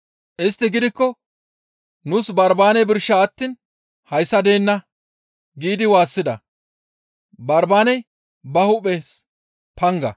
Istti gidikko, «Nuus Barbaane birsha attiin hayssa deenna!» giidi waassida; Barbaaney ba hu7es panga.